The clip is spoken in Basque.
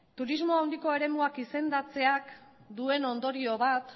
turismo handiko eremuak izendatzeak duen ondorio bat